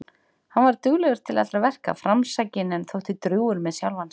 Hann var duglegur til allra verka, framsækinn en þótti drjúgur með sjálfan sig.